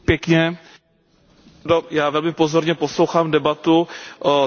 Já velmi pozorně poslouchám debatu o tragické situaci v Sýrii.